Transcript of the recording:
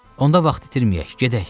Onda vaxt itirməyək, gedək.